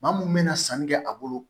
Maa mun bɛna sanni kɛ a bolo